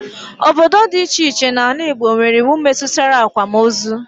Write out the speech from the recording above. Obodo dị iche iche n'ala Igbo nwere iwu metụtara akwamozu